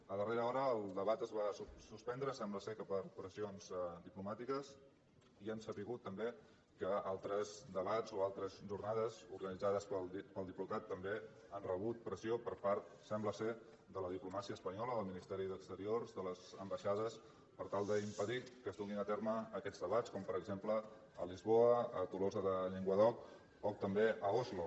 a darrera hora el debat es va suspendre sembla que per pressions diplomàtiques i hem sabut també que al tres debats o altres jornades organitzades pel diplocat també han rebut pressió per part sembla de la diplomàcia espanyola del ministeri d’exteriors de les ambaixades per tal d’impedir que es duguin a terme aquests debats com per exemple a lisboa a tolosa de llenguadoc o també a oslo